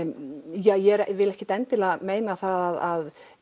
ég vil ekkert endilega meina það að